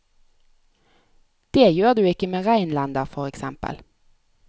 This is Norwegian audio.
Det gjør du ikke med reinlender for eksempel.